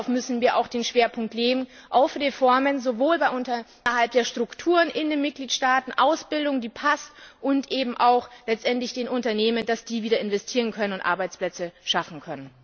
Und hierauf müssen wir auch den Schwerpunkt legen, auch für Reformen sowohl innerhalb der Strukturen in den Mitgliedstaaten Ausbildung, die passt als eben auch letztendlich in den Unternehmen, damit sie wieder investieren können und Arbeitsplätze schaffen können.